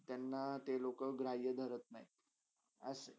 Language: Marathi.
त्यांना ते लोका ग्राहया धरत नाय असा.